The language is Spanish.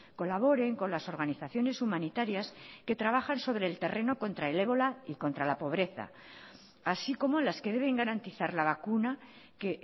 colaboren con las organizaciones humanitarias que trabajan sobre el terreno contra el ébola y contra la pobreza así como las que deben garantizar la vacuna que